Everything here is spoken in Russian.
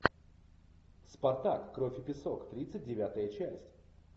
спартак кровь и песок тридцать девятая часть